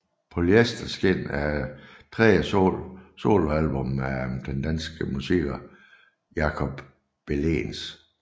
Polyester Skin er tredje soloalbum af den danske musiker Jacob Bellens